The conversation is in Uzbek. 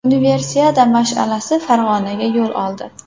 Universiada mash’alasi Farg‘onaga yo‘l oldi.